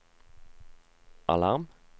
alarm